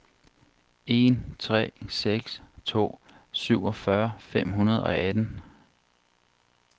en tre seks to syvogfyrre fem hundrede og atten